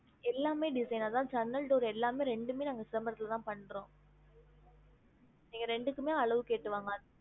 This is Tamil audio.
எல்லாமே design அதான் ஜன்னல் door எல்லாமே ரெண்டுமே நாங்க சிதம்பரத்துல தான் பண்றோம் நீங்க ரெண்டுக்குமே அளவு கேட்டு வாங்க